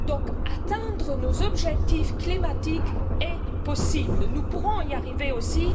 C'est pourquoi atteindre nos objectifs climatiques est possible, nous pouvons y arriver aussi.